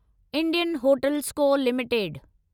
Indian hotels co limited